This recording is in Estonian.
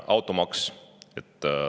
Automaks.